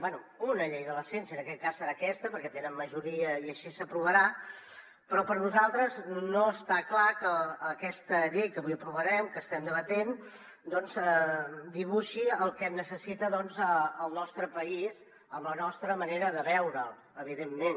bé una llei de la ciència en aquest cas serà aquesta perquè tenen majoria i així s’aprovarà però per nosaltres no està clar que aquesta llei que avui aprovarem que estem debatent doncs dibuixi el que necessita el nostre país amb la nostra manera de veure’l evidentment